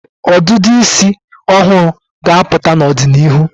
ọdịdị isi ọhụrụ ga-apụta n'ọdịnịhu.